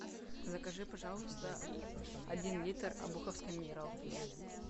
закажи пожалуйста один литр обуховской минералки